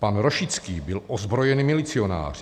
Pan Rošický byl ozbrojený milicionář.